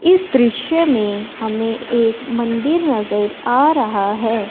इस दृश्य में हमें एक मंदिर नजर आ रहा है।